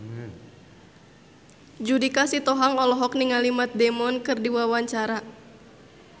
Judika Sitohang olohok ningali Matt Damon keur diwawancara